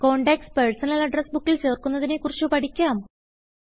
contacts personal address ബുക്കിൽ ചേർക്കുന്നതിനെ കുറിച്ച് പഠിക്കാം